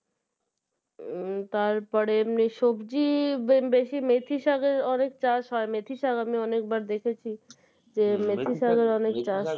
উম তারপরে মে সবজি বেশি মেথি শাঁকের অনেক চাষ হয় মেথিশাঁক আমি অনেকবার দেখেছি মেথিশাঁক অনেক চাষ হয়